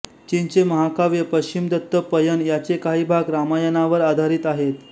चीनचे महाकाव्य पश्चिमदत्त पयण याचे काही भाग रामायणावर आधारित आहेत